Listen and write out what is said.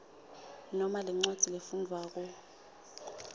noma lencwadzi lefundvwako